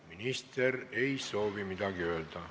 Minister ei soovi midagi öelda.